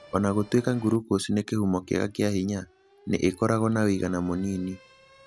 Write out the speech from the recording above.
O na gũtuĩka glucose nĩ kĩhumo kĩega kĩa hinya, nĩ ĩkoragwo na ũigana mũnini.